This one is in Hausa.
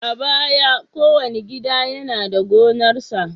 A baya, kowane gida yana da gonarsa.